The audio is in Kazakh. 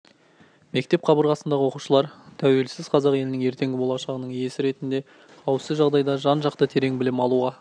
мектеп қабырғасындағы оқушылар тәуелсіз қазақ елінің ертеңгі болашағының иесі ретінде қауіпсіз жағдайда жан-жақты терең білім алуға